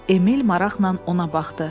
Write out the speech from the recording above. Emil maraqla ona baxdı.